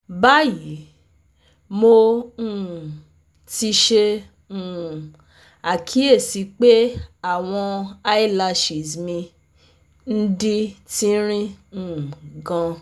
Bayi, Mo um ti ṣe um akiyesi pe awọn eyelashes mi n di tinrin um gan